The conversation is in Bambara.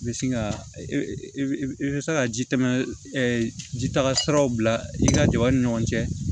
I bɛ sin ka i bɛ se ka ji tɛmɛ ji taga siraw bila i ka jaba ni ɲɔgɔn cɛ